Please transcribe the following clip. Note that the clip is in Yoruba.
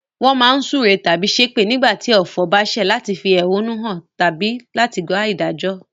Won má n súre tábí sépè nígbàtí ọ̀fọ̀ ba sẹ̀ láti fi ẹ̀húnú han tábí láti wa ìdájó